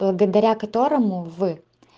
благодаря которому вы